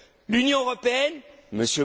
L'Union européenne,